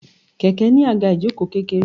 Kẹ̀kẹ́ ní àga ìjoko kékeré.